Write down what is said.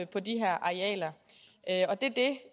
på de her arealer og det